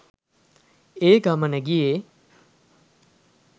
ඒ ගමන ගියේ